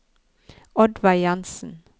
Oddveig Jansen